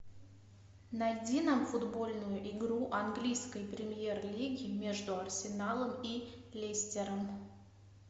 найди нам футбольную игру английской премьер лиги между арсеналом и лестером